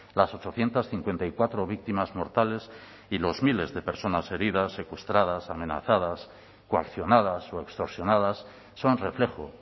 las ochocientos cincuenta y cuatro víctimas mortales y los miles de personas heridas secuestradas amenazadas coaccionadas o extorsionadas son reflejo